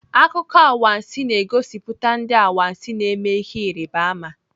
Akụkọ anwansị na-egosipụta ndị anwansị na-eme ihe Ịrịbama.